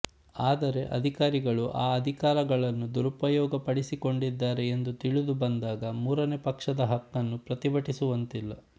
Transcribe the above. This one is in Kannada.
ಆದರೆ ಅಧಿಕಾರಿಗಳು ಆ ಅಧಿಕಾರಗಳನ್ನು ದುರುಪಯೋಗ ಪಡಿಸಿಕೊಂಡಿದ್ದಾರೆ ಎಂದು ತಿಳಿದು ಬಂದಾಗ ಮೂರನೆ ಪಕ್ಷದ ಹಕ್ಕನ್ನು ಪ್ರತಿಭಟಿಸುವಂತಿಲ್ಲ